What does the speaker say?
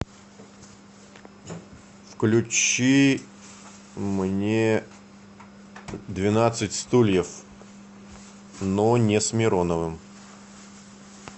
включи мне двенадцать стульев но не с мироновым